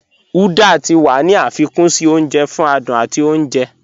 Uda tí wà ní afikún sí ọ̀nje fún àdùn àti ọ̀nje